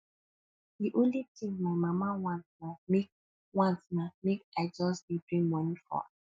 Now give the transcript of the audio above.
the only thing my mama want na make want na make i just dey bring money for am